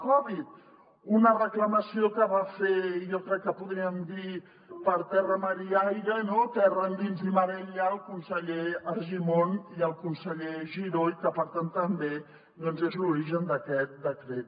precisament una reclamació que van fer jo crec que podríem dir per terra mar i aire terra endins i mar enllà el conseller argimon i el conseller giró i que per tant també és l’origen d’aquest decret